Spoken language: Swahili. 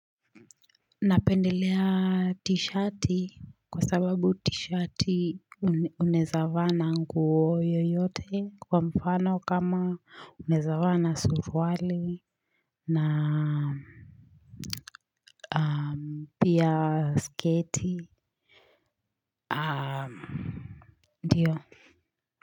Napendelea t-shirt kwa sababu t-shirt unaeza vaa na nguo yoyote kwa mfano kama unaeza vaa na surwali na pia sketi. Ndiyo.